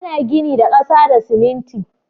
Ana gini da ƙasa da siminti